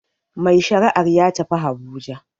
Mai shari'ar ya tafi habuja